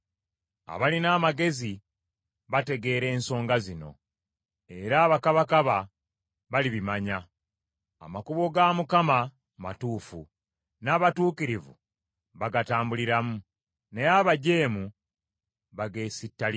Abalina amagezi bategeera ensonga zino, era abakabakaba balibimanya. Amakuba ga Mukama matuufu, n’abatuukirivu bagatambuliramu, naye abajeemu bageesittaliramu.